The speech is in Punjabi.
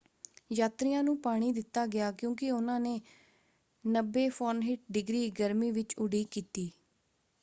ਯਾਤਰੀਆਂ ਨੂੰ ਪਾਣੀ ਦਿੱਤਾ ਗਿਆ ਕਿਉਂਕਿ ਉਹਨਾਂ ਨੇ 90f-ਡਿਗਰੀ ਗਰਮੀ ਵਿੱਚ ਉਡੀਕ ਕੀਤੀ।